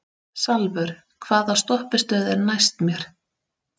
Salvör, hvaða stoppistöð er næst mér?